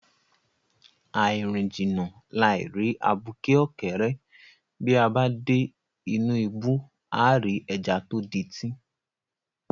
Àì rìn jìnnà, làì rí abuké ọ̀kẹ́rẹ́, bí a bá dé inú ibú, àá rí ẹja tó dití.